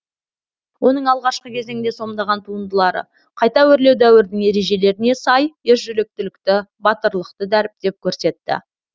оның алғашқы кезеңде сомдаған туындылары қайта өрлеу дәуірінің ережелеріне сай ержүректілікті батырлықты дәріптеп көрсетті